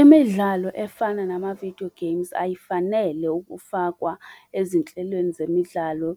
Imidlalo efana namavidiyo games ayifanele ukufakwa ezinhlelweni zemidlalo